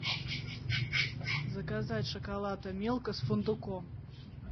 заказать шоколад милка с фундуком